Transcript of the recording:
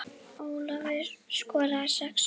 Ólafur skoraði sex mörk.